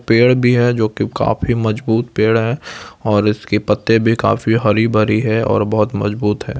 पेड़ भी है जो की काफी मजबूत पेड़ है और इसके पत्ते भी काफी हरी भरी है और बहुत मजबूत है।